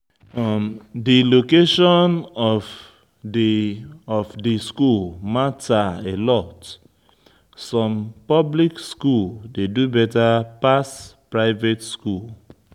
Di location of di of di school matter alot, some public school dey do better pass private school